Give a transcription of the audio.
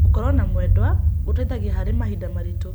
Gũkorwo na mwendwa gũteithagia harĩ mahinda maritũ.